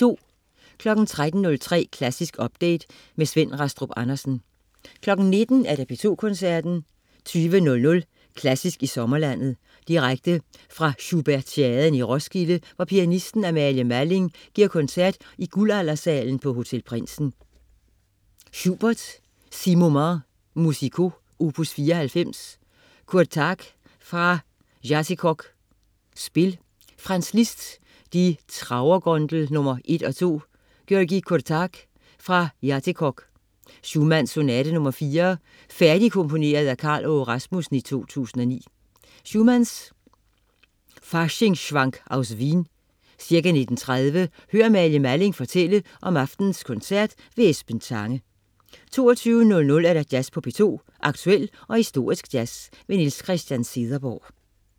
13.03 Klassisk update. Svend Rastrup Andersen 19.00 P2 Koncerten. 20.00 Klassisk i sommerlandet. Direkte fra Schubertiaden i Roskilde, hvor pianisten Amalie Malling giver koncert i Guldaldersalen på Hotel Prindsen. Schubert: 6 Moments Musicaux opus 94. Kurtág : Fra Játékok, Spil. Franz Liszt: Die Trauer-Gondel nr.1 og 2. György Kurtág: Fra Játékok. Schumann: Sonate nr. 4, færdigkomponeret af Karl Aage Rasmussen 2009. Schumann: Faschingsschwank aus Wien. Ca. 19.30: Hør Amalie Malling fortælle om aftenens koncert. Esben Tange 22.00 Jazz på P2. Aktuel og historisk jazz. Niels Christian Cederberg